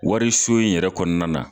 Wariso in yɛrɛ kɔnɔna na